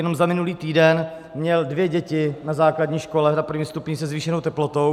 Jenom za minulý týden měl dvě děti na základní škole, na prvním stupni, se zvýšenou teplotou.